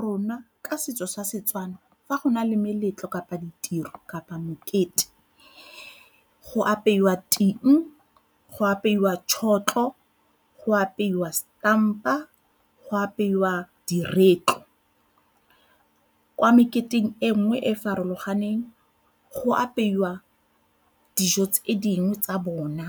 Rona ka setso sa Setswana fa go na le meletlo kapa ditiro kapa mokete go apewa ting, go apeiwa tšhotlho, go apeiwa setampa, go apeiwa di diretlo. Kwa meketeng e nngwe e e farologaneng go apeiwa dijo tse dingwe tsa bona